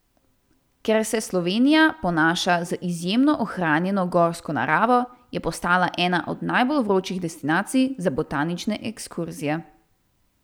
Ker se Slovenija ponaša z izjemno ohranjeno gorsko naravo, je postala ena od najbolj vročih destinacij za botanične ekskurzije.